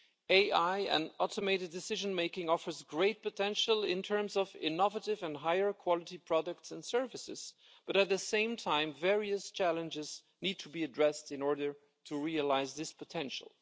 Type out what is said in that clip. AI and automated decision making offers great potential in terms of innovative and higher quality products and services, but at the same time, various challenges need to be addressed in order to realise this potential.